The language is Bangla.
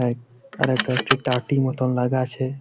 এক আর একটা একটি টাটি মতো লাগা আছে--